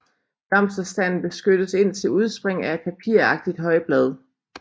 Blomsterstanden beskyttes indtil udspring af et papiragtigt højblad